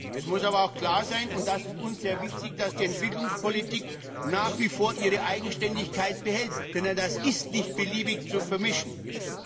Es muss aber auch klar sein, und das ist uns sehr wichtig, dass die Entwicklungspolitik nach wie vor ihre Eigenständigkeit behält, denn das darf nicht beliebig vermischt werden.